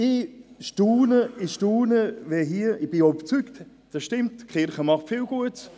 Ich bin überzeugt davon, dass die Kirche viel Gutes tut.